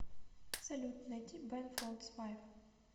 салют найди бен фолдс файв